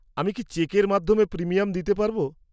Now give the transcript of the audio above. -আমি কি চেকের মাধ্যমে প্রিমিয়াম দিতে পারব?